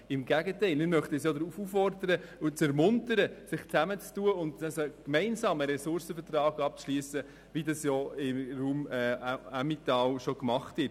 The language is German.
Im Gegenteil: Wir möchten sie ja auffordern und ermuntern, sich zusammenzutun und gemeinsam einen Ressourcenvertrag abzuschliessen, wie das im Raum Emmental bereits gemacht wird.